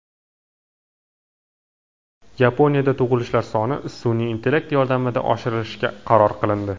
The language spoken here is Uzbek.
Yaponiyada tug‘ilishlar sonini sun’iy intellekt yordamida oshirishga qaror qilindi.